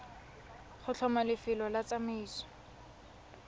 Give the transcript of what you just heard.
go tlhoma lefelo la tsamaiso